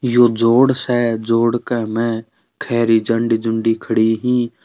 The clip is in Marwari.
यो जोड़ स जोड़ का म खरी झंडी झुंडी खड़ी हीं।